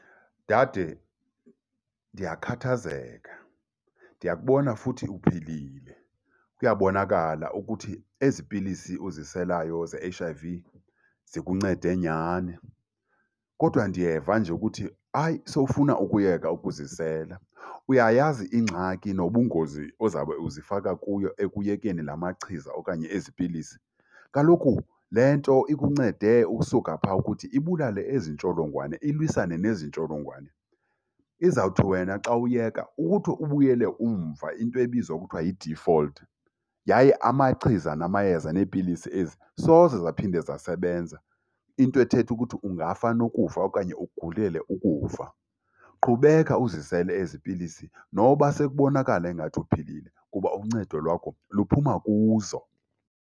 Dade, ndiyakhathazeka. Ndiya kubona futhi uphilile, kuyabonakala ukuthi ezi pilisi uziselayo ze-H_I_V zikuncede nyhani. Kodwa ndiyeva nje ukuthi hayi, sowufuna ukuyeka ukuzisela. Uyayazi ingxaki nobungozi ozabe uzifaka kuyo ekuyekeni la machiza okanye ezi pilisi? Kaloku le nto ikuncede ukusuka phaa ukuthi ibulale ezi ntsholongwane, ilwisane nezi ntsholongwane. Izawuthi wena xa uyeka ukuthi ubuyele umva, into ebizwa kuthiwa yi-default. Yaye amachiza namayeza neepilisi ezi soze zaphinde zasebenza, into ethetha ukuthi ungafa nokufa okanye ugulele ukufa. Qhubeka uzisele ezi pilisi noba sekubonakala engathi uphilile kuba uncedo lwakho luphuma kuzo.